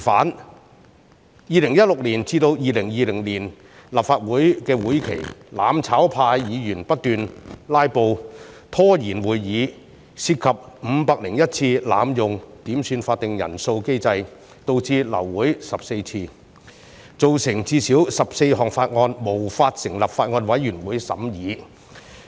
在2016年至2020年的立法會會期內，"攬炒派"議員不斷"拉布"拖延會議，涉及501次濫用點算法定人數機制，導致流會14次，造成最少14項法案無法成立法案委員會審議。